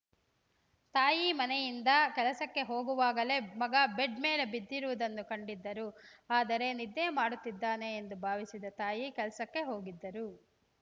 ತಾಯಿ ಮನೆಯಿಂದ ಕೆಲಸಕ್ಕೆ ಹೋಗುವಾಗಲೇ ಮಗ ಬೆಡ್‌ ಮೇಲೆ ಬಿದ್ದಿರುವುದನ್ನು ಕಂಡಿದ್ದರು ಆದರೆ ನಿದ್ದೆ ಮಾಡುತ್ತಿದ್ದಾನೆ ಎಂದು ಭಾವಿಸಿದ ತಾಯಿ ಕೆಲಸಕ್ಕೆ ಹೋಗಿದ್ದರು